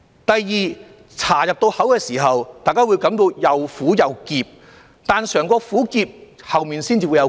第二，茶入口時，大家會感到又苦又澀，但嘗過苦澀才會有後面的回甘。